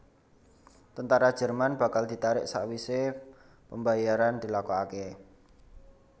Tentara Jerman bakal ditarik sakwisé pembayaran dilakokaké